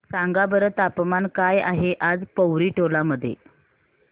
सांगा बरं तापमान काय आहे आज पोवरी टोला मध्ये